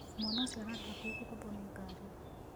Mwana ũcio ararĩ hakuhĩ kũgũthwo nĩ ngari.